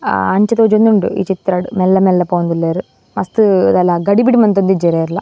ಅಹ್ ಅಂಚ ತೋಜೊಂದುಂಡು ಈ ಚಿತ್ರಡ್ ಮೆಲ್ಲ ಮೆಲ್ಲ ಪೋವೊಂದುಲ್ಲೆರ್ ಮಸ್ತ್ ದಾಲ ಗಡಿಬಿಡಿ ಮಂತೊಂದಿಜ್ಜೆರ್ ಏರ್ಲ.